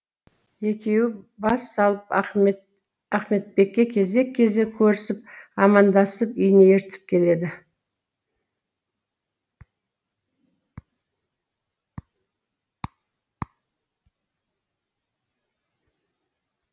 екеуі бас салып ахметбекке кезек кезек көрісіп амандасып үйіне ертіп келеді